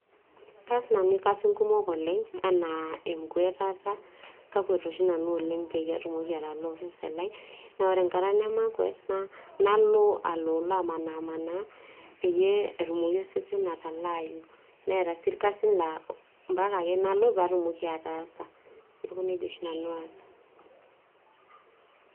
kaas nanu irkasin kumok oleng' enaa enkwuatata kakwet oshi nanu pee atumoki atalaa osesen naa ore enkata nemakwuet nalo aloolo amanimanaa peeyie etumoki osesen atalaayu, neeta sii irkasin laa ompaka ake nalo pee aas.